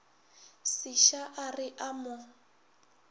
seša a re a mo